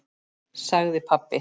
sagði pabbi.